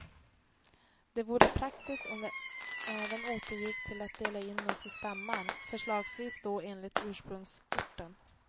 Det vore praktiskt om vi även återgick till att dela in oss i stammar, förslagsvis då enligt ursprungsorten.